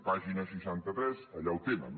pàgina seixanta tres allà ho tenen